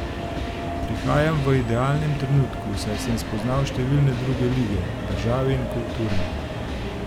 Prihajam v idealnem trenutku, saj sem spoznal številne druge lige, države in kulture.